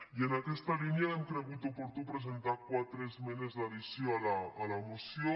i en aquesta línia hem cregut oportú presentar quatre es·menes d’addició a la moció